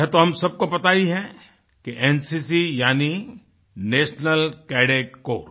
यह तो हम सबको पता ही है एनसीसी यानी नेशनल कैडेट Corps